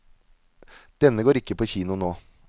Denne går ikke på kino nå.